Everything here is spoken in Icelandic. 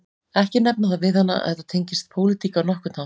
Ekki nefna það við hana að þetta tengist pólitík á nokkurn hátt